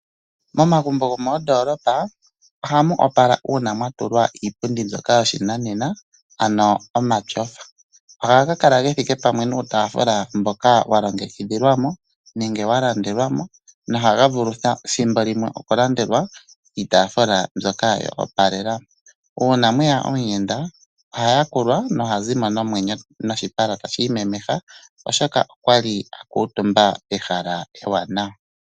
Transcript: Momagumbo gomoondolopa ohamu opala uuna mwatulwa iipundi mbyoka yoshinanena ano omatyofa . Ohaga kala gethike pamwe nuutaafula mboka walongekidhilwamo nenge walandelwamo . Ohaga vulu ethimbo limwe okulandelwa iitaafula mbyoka yoopalela. Uuna mweya omuyenda , ohaya kulwa nohazimo noshipala tashi imemeha , oshoka okwali akuutumba pehala ewanawa.